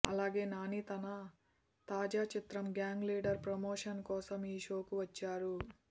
అలాగే నాని తన తాజా చిత్రం గ్యాంగ్ లీడర్ ప్రమోషన్ కోసం ఈ షో కు వచ్చారు